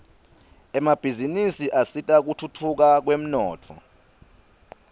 emabhizinisi asita kutfutfuka kwemnotfo